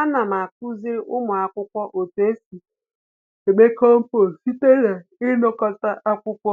Ana m akuziri ụmụ akwụkwọ otu esi eme compost site na ịnakọta akwụkwọ